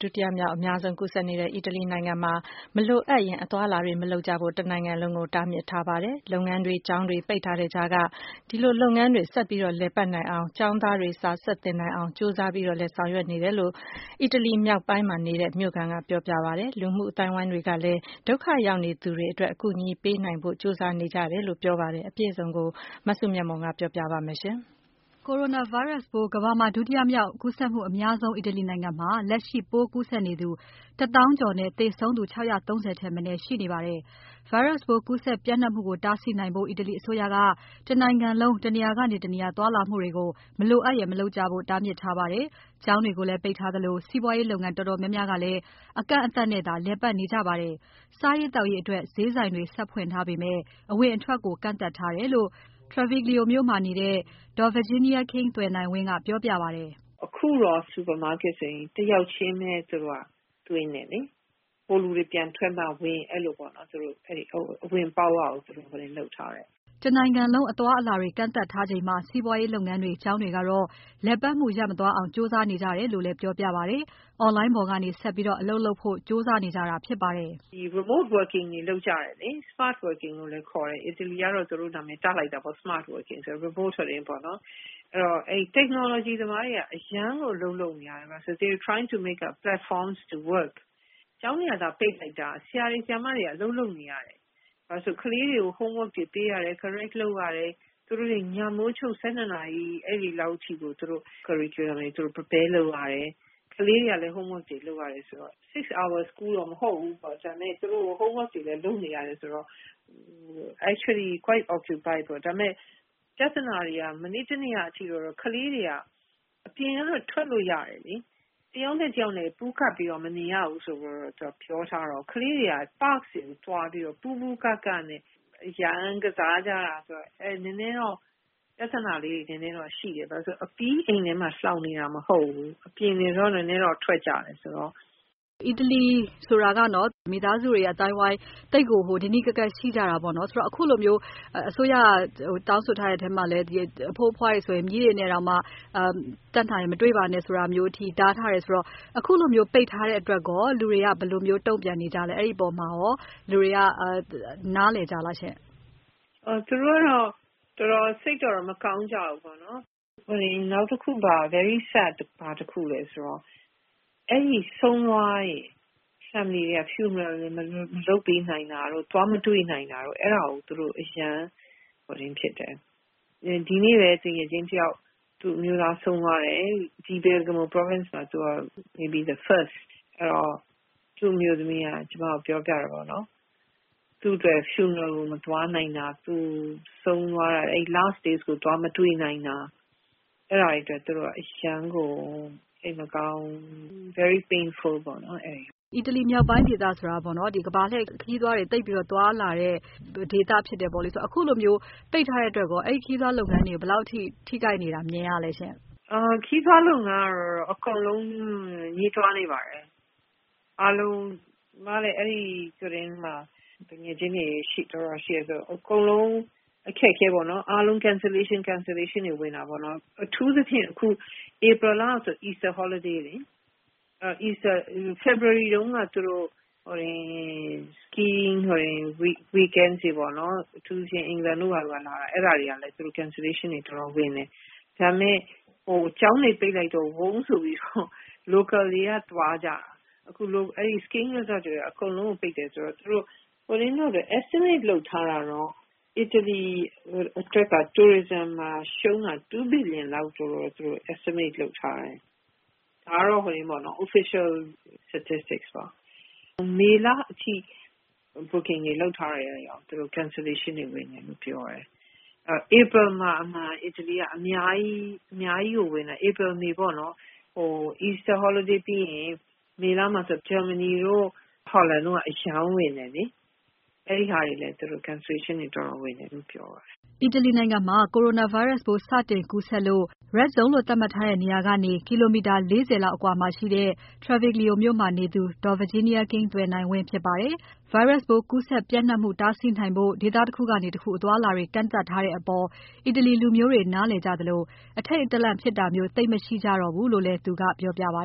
ဒုတိယမြောက် အများဆုံးကူးစက်နေတဲ့ အီတလီနိုင်ငံမှာ တနိုင်ငံလုံး အသွားအလာတွေ မလိုအပ်ရင် မလုပ်ကြဖို့ တားမြစ်ထားပါတယ်။ လုပ်ငန်းတွေ ကျောင်းတွေ ပိတ်ထားတဲ့ကြားက လုပ်ငန်းတွေ ဆက်လက်လည်ပါတ်နိုင်အောင်း ကျောင်းသားတွေ စာဆက်သင်နိုင်အောင် ကြိုးစားလုပ်နေကြတယ်လို့ အီတလီမြောက်ပိုင်းမှာနေတဲ့ မြို့ခံက ပြောပြပါတယ်။ လူမှုအသိုင်းအဝိုင်းတွေကလည်း ဒုက္ခရောက်နေသူတွေအတွက် အကူအညီပေးနိုင်ဖို့ ကြိုးစားနေကြတယ်လို့ ပြောပါတယ် အပြည့်အစုံကို မစုမြတ်မွန်က ပြောပြပါမယ်။ Coronavirus ပိုး ကမ္ဘာမှာ ဒုတိယမြောက် ကူးစက်မှုအများဆုံး အီတလီနိုင်ငံမှာ လက်ရှိပိုးကူးစက်နေသူ တသောင်းကျော်နဲ့ သေဆုံးသူ ၆၃၀ ထက်မနည်း ရှိနေပါတယ်။ Virus ပိုးကူးစက်ပျံ့နှံ့မှုကို တားဆီးနိုင်ဖို့ အီတလီအစိုးရက တနိုင်ငံလုံး တနေရာကနေ တနေရာ သွားလာမှုတွေကို မလိုအပ်ရင် မလုပ်ကြဖို့ တားမြစ်ထားပါတယ်။ ကျောင်းတွေကိုလည်း ပိတ်ထားသလို စီးပွားရေးလုပ်ငန်းတော်တော်များများကလည်း အကန့်အသတ်နဲ့သာ လည်ပတ်နေကြပါတယ်။ စားရေးသောက်ရေးအတွက် ဈေးဆိုင်တွေဆက်ဖွင့်ထားပေမဲ့ အဝင်အထွက်တွေကို ကန့်သတ်ထားတယ်လို့ Treviglio မြို့မှာနေတဲ့ ဒေါ် Virginia King သွယ်နိုင်ဝင်းက ပြောပြပါတယ်။ အခုတော့ super market တွေ တယောက်ချင်းပဲ သူတို့က သွင်းတယ်လေ။ ဟိုလူတွေ ပြန်ထွက်မှ ဝင် အဲ့လိုပေါ့... အဝင်အပေါက်ဝကို သူတို့လုပ်ထားတယ်။ တနိုင်ငံလုံး အသွားအလာတွေကန့်သတ်ထားချိန်မှာ စီးပွားရေးလုပ်ငန်းတွေ ကျောင်းတွေကတော့ လည်ပတ်မှု ရပ်မသွားအောင် ကြိုးစားနေကြတယ်လို့လည်း ပြောပြပါတယ်။ Online ပေါ်ကနေ ဆက်ပြီး အလုပ်လုပ်ဖို့ ကြိုးစားနေကြတာဖြစ်ပါတယ်။ ဒီ remote working တွေလုပ်ကြတယ်။ smart working လို့လည်း ခေါ်တယ်။ အီတလီကတော့ သူတို့ နာမည်တပ်လိုက်တာပေါ့။ အဲ့ Technology သမားတွေက အရမ်းကို အလုပ်လုပ်နေရတယ်။ They trying to make a platform to work. ကျောင်းတွေကသာ ပိတ်လိုက်တာ ဆရာတွေ၊ ဆရာမတွေက အလုပ်လုပ်နေရတယ်။ ဘာလို့လည်းဆိုတော့ ကလေးတွေကို homework တွေ ပေးရတယ်။ correct လုပ်ရတယ်။ သူတို့တွေ ညမိုးချုပ် ၁၂ နာရီ အဲ့ဒီလောက်ထိကို သူတို့ Prepare လုပ်ရတယ်။ ကလေးတွေကလည်း homework တွေလုပ်ရတယ်ဆိုတော့ ၆ နာရီကျောင်းတော့ မဟုတ်ဘူး။ သူတို့ homework တွေတော့ လုပ်နေရတယ်ဆိုတော့... actually quite occupied ပေါ့။ ဒါပေမဲ့ ပြဿနာတွေက မနေ့တနေ့ကအထိ ကလေးတွေက အပြင်ကတော့ ထွက်လို့ရတယ်လေ။ တယောက်နဲ့ တယောက် ပူးကပ်ပြီးတော့ မနေရဘူးဆိုပြီး ပြောထားတော့ ကလေးတွေက parks တွေသွားပြီးတော့ ပူးပူးကပ်ကပ်နဲ့ အရမ်းကစားကြတာဆိုတော့ နည်းနည်းတော့ ပြဿနာလေးတွေ နည်းနည်းတော့ ရှိတယ်။ ဘာလို့လည်းဆိုတော့ အပြီး အိမ်ထဲမှာ လှောင်နေတာမဟုတ်ဘူး။ အပြင်တွေတော့နည်းနည်းတော့ ထွက်ကြတယ်ဆိုတော့။ အီတလီဆိုတာကနော်။ မိသားစုတွေ အသိုင်းအဝိုင်းတွေ သိပ်ကို နီးနီးကပ်ကပ် ရှိကြတာပေါ့နော်။ ဆိုတော့ အခုလိုမျိုး အစိုးရက တောင်းဆိုထားတဲ့အထဲမှာလည်း အဖိုးအဖွားတွေဆိုရင် မြေးတွေနဲ့တောင်မှ တက်နိုင်ရင် မတွေ့တာမျိုးအထိတားထားတယ်ဆိုတော့ အခုလိုမျိုးပိတ်ထားတဲ့အတွက်ရော လူတွေက ဘယ်လိုမျိုး တုံ့ပြန်နေကြလဲ။ အဲ့အပေါ်မှာရော လူတွေက နားလည်ကြလားရှင့်။ သူတို့ကတော့ စိတ်တော့ မကောင်းကြဘူးပေါ့နော်။ နောက်တခု very sad ဘာတခုလည်းဆိုတော့ အဲ့ဒီ ဆုံးသွားတဲ့ မိသားစုတွေရဲ့ funeral မလုပ်ပေးနိုင်တာတို့၊ သွားမတွေ့နိုင်တာတို့ အဲ့ဒါကို သူတို့ အရမ်းစိတ်မကောင်းဖြစ်တယ်။ ဒီနေ့ပဲ သူငယ်ချင်းတယောက် သူ့အမျိုးသားဆုံးသွားတယ်။ office မှာ mayb the first အဲ့တော့ သူ့အမျိုးသမီးက ကျမကို ပြောပြတယ်ပေါ့နော်။ သူ့အတွက် funeral ကို မသွားနိုင်တာ ဆုံးသွားတဲ့ last day ကို သူသွားမတွေ့နိုင်တာ အဲ့ဒါတွေတွက် အရမ်းကို စိတ်မကောင်းဘူး။ Very Painful ပေါ့နော်။ အီတလီမြောက်ပိုင်းဒေသဆိုတာပေါ့နော်။ ဒီကမ္ဘာလှည့်ခရီးသွားတွေ သိပ်ပြီးတော့ သွားလာတဲ့ဒေသဖြစ်တယ်ပေါ့လေ။ အခုလိုမျိုး ပိတ်ထားတဲ့အတွက်ရော ခရီးသွားလုပ်ငန်းတွေကို ဘယ်လောက်ထိ ထိခိုက်နေတာ မြင်ရလဲရှင့်။ ခရီးသွားလုပ်ငန်းကတော့ အကုန်လုံးငြီးတွားနေပါတယ်။ အမလည်း အဲ့ဒီမှာ သူငယ်ချင်းတွေတော်တော် ရှိတယ်ဆိုတော့ အကုန်လုံးအခက်အခဲပေါ့နော်။ cancellation တွေ ဝင်တာပေါ့နော်။ အထူးသဖြင့် ဧပြီလဆို Easter holiday လေ... ဖေဖော်ဝါရီတုန်းက သူတို့.... kings weekends တွေပေါ့နော်... အထူးသဖြင့် England ကဘာတို့က လာတာ အဲ့ဒါတွေကလည်း သူတို့ cancellation တွေ တော်တော်ဝင်တယ်။ ဒါပေမဲ့ ကျောင်းတွေ ပိတ်လိုက်တော့ ဝုန်းဆိုပြီးတော့ local တွေက သွားကြတာ... အကုန်လုံးကို ပိတ်တယ်ဆိုတော့ estimate လုပ်ထားတာတော့ အီတလီအတွက်က Tourism မှာ ရှုံးတာ ၂ ဘီလီယံလောက်တော့ သူတို့ estimate လုပ်ထားတယ်။ ဒါကတော့ official statistic ပေါ့။ မေလအထိ booking တွေလုပ်ထားတာတွေတောင် cancellation တွေ ဝင်တယ်လို့ ပြောတယ်။ ဧပြီမှာ အမှန်က အီတလီက အများကြီးကို ဝင်တယ်။ ဧပြီ၊ မေ ပေါ့နော်။ Easter ပြီးရင် မေလမှာဆို ဂျာမနီတို့ ဟောလန်တို့က အရမ်းဝင်တယ်လေ။ အဲ့ဒီဟာတွေလည်း သူတို့ cancellation တွေ တော်တော်ဝင်တယ်လို့ ပြောတယ်။ အီတလီနိုင်ငံမှာ Coronavirus ပိုးစတင်ကူးစက်လို့ Red Zone လို့သတ်မှတ်ထားတဲ့နေရာကနေ ကီလိုမီတာ ၄၀ သာဝေးတဲ့ Treviglio မြို့မှာနေသူ ဒေါ် Virginia King သွယ်နိုင်ဝင်းဖြစ်ပါတယ်။ Virus ပိုးကူးစက်မှု ပျံ့နှံ့မှုတားဆီးနိုင်ဖို့ ဒေသတခုကနေ တခုအသွားအလာတွေ ကန့်သတ်ထားတဲ့အပေါ် အီတလီလူမျိုးတွေ နားလည်ကြသလို အထိတ်တလန့်ဖြစ်တာမျိုး သိပ်မရှိကြတော့ဘူးလို့လည်း သူကပြောပြပါ